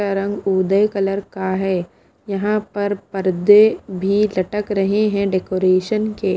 का रंग उदय कलर का है यहाँ पर पर्दे भी लटक रहे हैं डेकोरेशन के।